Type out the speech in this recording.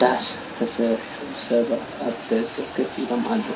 ዳስ ተሰሪሑ ሰባት ኣብ ደገ ኮፍ ኢሎም ኣለዉ።